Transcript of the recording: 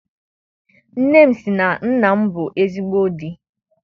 Nne m sị na nna m bụ ezigbo di.